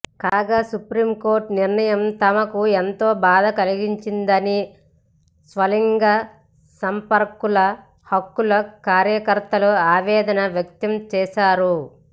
కాగా supreme court నిర్ణయం తమకు ఎంతో బాధ కలిగించిందని స్వలింగ సంపర్కుల హక్కుల కార్యకర్తలు ఆవేదన వ్యక్తం చేశారు